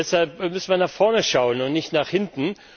Deshalb müssen wir nach vorne schauen, nicht nach hinten.